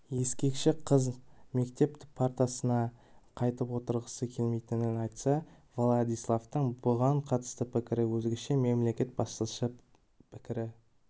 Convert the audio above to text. ескекші қыз мектеп партасына қайтып отырғысы келмейтінін айтса владиславтың бұған қатысты пікірі өзгеше мемлекет басшысы пікірі